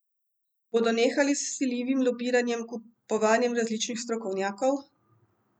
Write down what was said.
Bodo nehali z vsiljivim lobiranjem, kupovanjem različnih strokovnjakov?